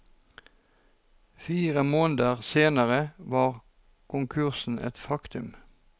Fire måneder senere var konkursen en faktum.